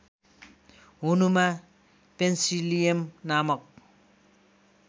हुनुमा पेन्सिलियम नामक